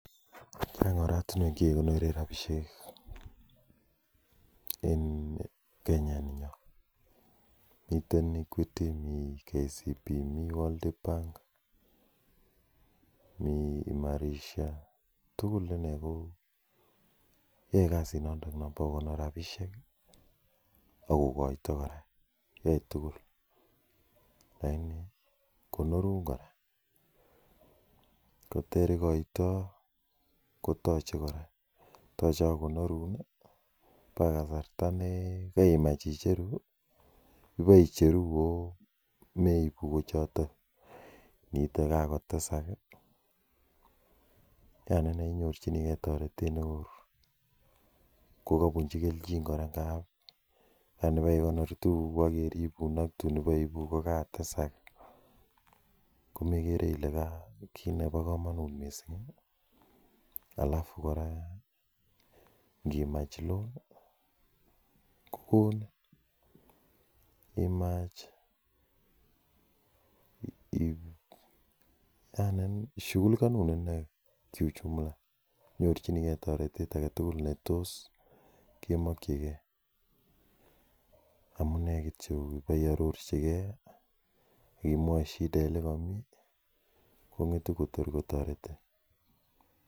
Chang'oratinuek chekikonoren sabisiek en Kenya ininyon, miten Equity, mi KCB, mi World bank, mi Emarisha, tugul inei ko yoe kasit noton nebo kokonor rabisiek ak kogoito kora, yoe tugul lagini konorun kora, koter igoito ko toche kora, toche ak kokonorun ii agoi kasarta negemach icheru, iboicheru ago meibu kochoton, iniite ko kagotesak ii yani inei inyorjinigen toretet neo kkabunji keljin kora ngab yani kiibekonor tugukuk akeribun ii ak tun iboiibu kogatesak komegere ile kit nemakomonut mising, alafu kora ngimach loan kogonin, yani shugulikanun inei kiujumla, inyorchinigen toretet agetugul netos kemokyigen, amune kityo iboiororjigen ak imwochi shida olekomi kongetu kotor kotoretin.